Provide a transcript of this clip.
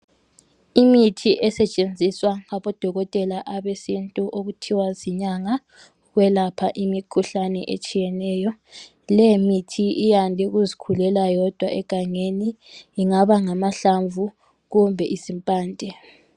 Imithi esetshenziswa ngabo dokotela abesintu okuthiwa zinyanga, kwelapha imikhuhlane etshiyeneyo. Le mithi iyande ukuzikhulela yodwa egangeni ingaba ngamahlamvu kumbe impande.